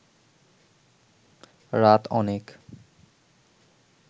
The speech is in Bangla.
রাত অনেক